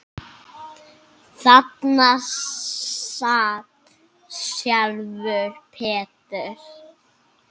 Þarna sat sjálfur Peter